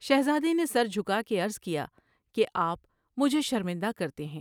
شہزادے نے سر جھکا کے عرض کیا کہ آپ مجھے شرمندہ کر تے ہیں ۔